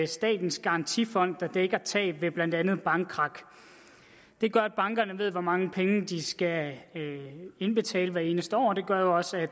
statens garantifond der dækker tab ved blandt andet bankkrak det gør at bankerne ved hvor mange penge de skal indbetale hvert eneste år og det gør jo også at